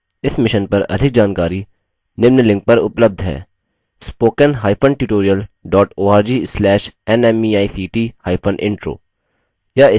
इस mission पर अधिक जानकारी के लिए उपलब्ध लिंक पर संपर्क करेंspoken hyphen tutorial dot org slash nmeict hyphen intro